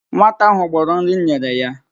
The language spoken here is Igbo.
Nwata ahụ gbọrọ nri m nyere ya